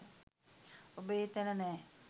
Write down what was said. ඔබ ඒ තැන නෑ.